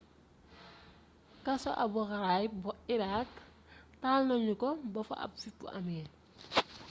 kaso abu ghraib bu iraq taal nanu ko ba fa ab fippu amee